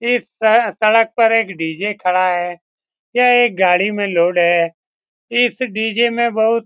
इस सड़क सड़क पर एक डी.जे. खड़ा है। यह एक गाड़ी में लोड है। इस डी.जे. में बहुत --